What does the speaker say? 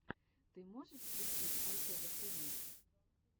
ты можешь включить альтева тиви